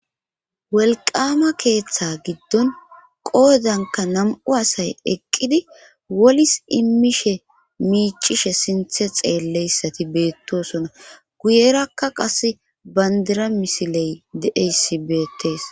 welqama keeththe giddon qoodanka nam7u asay eqqidi wolis immishe miicishe sinthe xeelleyssati beettosona guyerakka qas bandira misiley deeyssi beettees